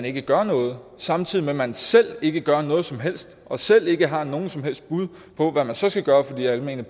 ikke gør noget samtidig med at man selv ikke gør noget som helst og selv ikke har nogen som helst bud på hvad man så skal gøre for de almene